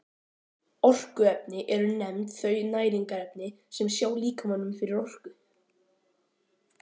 Orkuefni eru nefnd þau næringarefni sem sjá líkamanum fyrir orku.